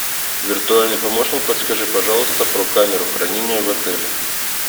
виртуальный помощник подскажи пожалуйста про камеру хранения в отеле